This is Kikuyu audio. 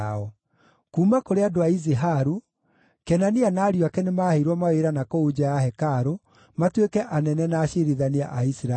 Kuuma kũrĩ andũ a Iziharu: Kenania na ariũ ake nĩmaheirwo mawĩra na kũu nja ya hekarũ matuĩke anene na aciirithania a Isiraeli.